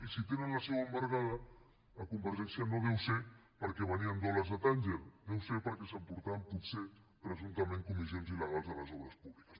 i si tenen la seu embargada a convergència no deu ser perquè venien dòlars a tànger deu ser perquè s’emportaven potser presumptament comissions il·legals de les obres públiques